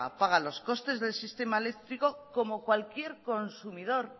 paga paga los costes del sistema eléctrico como cualquier consumidor